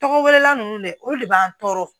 Tɔgɔ wɛrɛla ninnu dɛ olu de b'an tɔɔrɔ